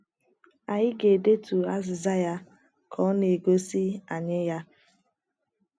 Anyị ga - edetu azịza ya ka ọ na - egosi anyị ya.